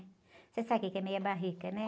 Você sabe o que é meia barrica, né?